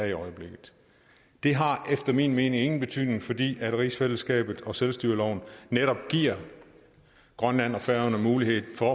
i øjeblikket det har efter min mening ingen betydning fordi rigsfællesskabet og selvstyreloven netop giver grønland og færøerne mulighed for